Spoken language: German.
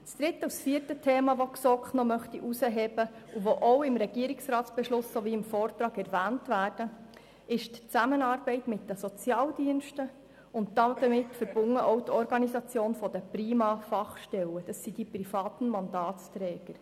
Die Zusammenarbeit mit den Sozialdiensten und damit verbunden die Organisation der Fachstellen der Privaten Mandatsträger/-innen (PriMa), sind es zwei weitere Themen, welche die GSoK hervorhebt und die auch im RRB sowie im Vortrag erwähnt werden.